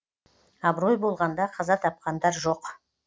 абырой болғанда қаза тапқандар жоқ